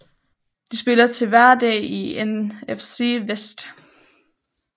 De spiller til dagligt i NFC West